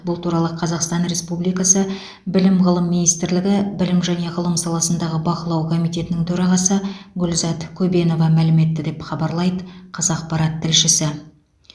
бұл туралы қазақстан республикасы білім ғылым министрлігі білім және ғылым саласындағы бақылау комитетінің төрағасы гүлзат көбенова мәлім етті деп хабарлайды қазақпарат тілшісі